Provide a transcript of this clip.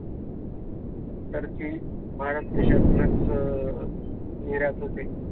तर ती भारत देशातूनच निर्यात होते.